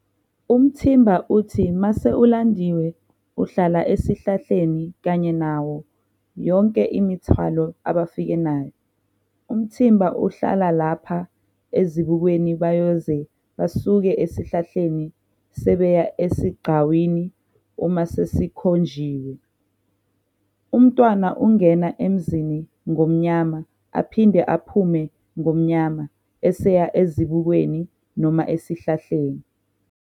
Umthimba uthi mase ulandiwe uhlala esihlahlani kanye nayo yonke imithwalo abafike nayo. Umthimba uhlala lapha ezibukweni bayoze basuke esihlahleni sebeya esigcawini uma sesikhonjiwe. Umntwana ungena emzini ngomnyama aphinde aphume ngomnyama eseya ezibukweni noma esihlahleni.